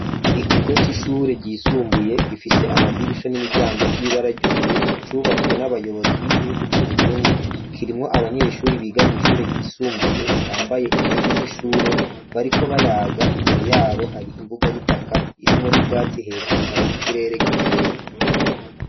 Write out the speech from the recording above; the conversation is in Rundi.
Ikigo c'ishure ryisumbuye, gifise amadirisha n'imiryango vy'ibara ry'ubururu, cubatswe n'abayobozi b'igihugu c'Uburundi, kirimwo abanyeshuri biga mw'ishure ryisumbuye, bambaye impuzu z'ishure bariko bayaga, imbere yabo hari imbuga y'itaka irimwo n'ubwatsi, hejuru hari ikirere gikeye.